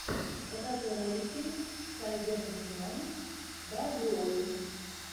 покажи ролики сайбердимон даблюоути